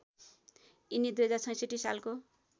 यिनी २०६६ सालको